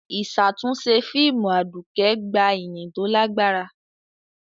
Ìṣàtúnṣe fíìmù Aduke gba ìyìn tó lágbára.